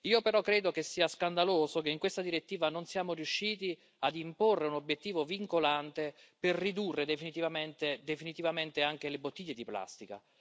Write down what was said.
Io però credo che sia scandaloso che in questa direttiva non siamo riusciti ad imporre un obiettivo vincolante per ridurre definitivamente anche le bottiglie di plastica.